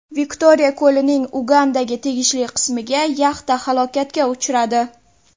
Viktoriya ko‘lining Ugandaga tegishli qismida yaxta halokatga uchradi.